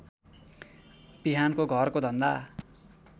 बिहानको घरको धन्दा